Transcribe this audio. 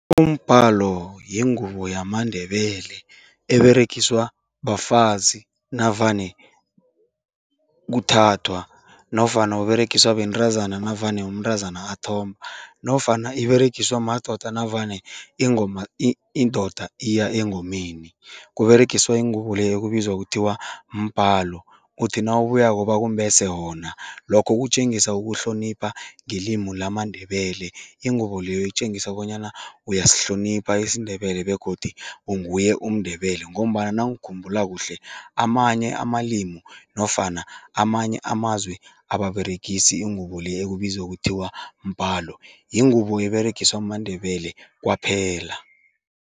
Umbhalo yingubo yamaNdebele eberegiswa bafazi navane kuthathwa nofana uberegiswa bentazana navane umntazana athomba nofana iberegiswa madoda navane ingoma indoda iya engomeni, kuberegiswa ingubo le ekubizwa kuthiwa mbhalo, uthi nawubuyako bakumbese wona. Lokho kutjengisa ukuhlonipha ngelimu lamaNdebele, ingubo leyo itjengisa bonyana uyasihlonipha isiNdebele begodu unguye umNdebele ngombana nangikhumbula kuhle, amanye amalimu nofana amanye amazwe ababeregisi ingubo le ekubizwa kuthiwa mbhalo, yingubo eberegiswa maNdebele kwaphela.